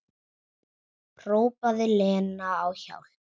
Hrópaði Lena á hjálp?